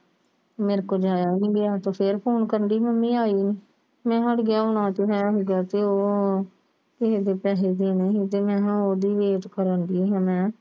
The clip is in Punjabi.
ਮੇਰੇ ਕੋਲ ਜਾਇਆ ਵੀ ਗਿਆ ਤੇ ਫਿਰ ਫੋਨ ਕਰਨੀ ਡੀ ਆ ਕੇ Mummy ਆਈ ਨੀ ਮੈਂ ਕਿਹਾ ਅੜੀਏ ਆਉਣਾ ਤੇ ਵੈਸੇ ਮੈਂ ਉਹ ਕਿ ਕਹਿੰਦੇ ਪੈਸੇ ਦੇਣੇ ਸੀ ਮੈਂ ਹਾਂ ਉਹਦੀ Wait ਕਰਨ ਡੀ ਆ ਮੈਂ